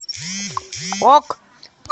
ок